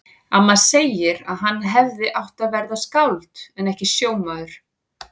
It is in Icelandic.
Amma segir að hann hefði átt að verða skáld en ekki sjómaður.